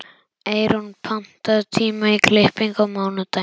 Eyrún, pantaðu tíma í klippingu á mánudaginn.